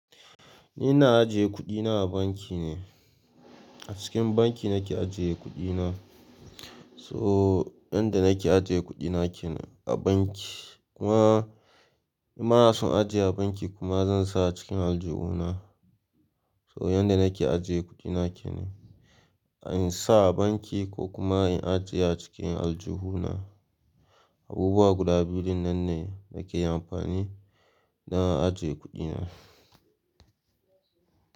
Ni ina ajiye kuɗina a banki ne. A cikin banki nake ajiye kuɗina. So yanda nake ajiye kuɗina kenan a banki kuma in ba na son ajiye a banki kuma zan sa cikin aljihuna. So yanda nake ajiye kuɗina kenan, in sa a banki ko kuma in ajiye a cikin aljihuna. Abubuwa guda biyu nan ne nake amfani dan ajiye kuɗina.